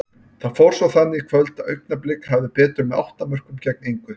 Það fór svo þannig í kvöld að Augnablik hafði betur með átta mörkum gegn engu.